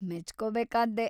ಮೆಚ್ಕೋಬೇಕಾದ್ದೇ.